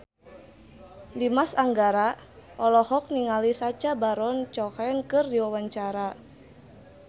Dimas Anggara olohok ningali Sacha Baron Cohen keur diwawancara